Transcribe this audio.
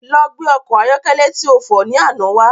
Lọ gbé ọkọ̀ ayọ́kẹ́lẹ́ ti o fọ̀ ni àná wá